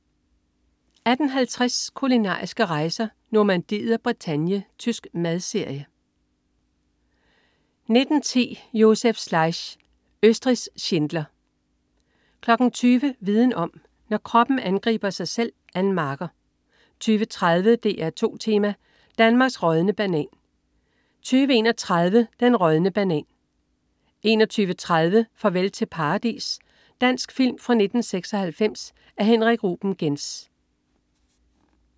18.50 Kulinariske rejser: Normandiet og Bretagne. Tysk madserie 19.10 Josef Schleich. Østrigs Schindler 20.00 Viden om: Når kroppen angriber sig selv. Ann Marker 20.30 DR2 Tema: Danmarks rådne banan 20.31 Den rådne banan 21.30 Farvel Til Paradis. Dansk film fra 1996 af Henrik Ruben Genz